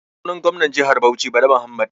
Sunan gomnar jihar Bauchi Bala Muhammad.